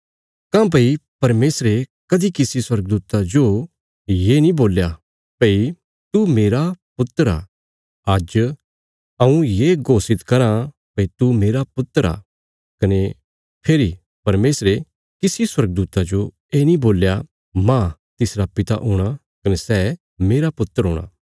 काँह्भई परमेशरे कदीं किसी स्वर्गदूता जो ये नीं बोल्या भई तू मेरा पुत्र आ आज्ज हऊँ ये घोषित करा भई तू मेरा पुत्र आ कने फेरी परमेशरे किसी स्वर्गदूता जो ये नीं बोल्या मांह तिसरा पिता हूणा कने सै मेरा पुत्र हूणा